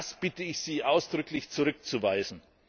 Das bitte ich Sie ausdrücklich zurückzuweisen.